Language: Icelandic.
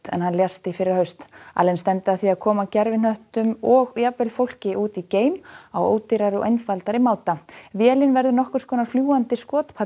en hann lést í fyrrahaust allen stefndi að því að koma gervihnöttum og jafnvel fólki út í geim á ódýrari og einfaldari máta vélin verður nokkurs konar fljúgandi